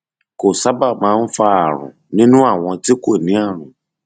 kò sábà máa ń fa ààrùn nínú àwọn tí kò ní ààrùn